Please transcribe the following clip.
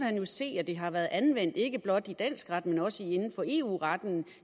han jo se at det har været anvendt ikke blot i dansk ret men også inden for eu retten